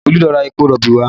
Olu lọ ra epo rọ̀bì wá